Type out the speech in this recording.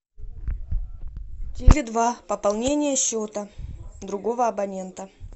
теле два пополнение счета другого абонента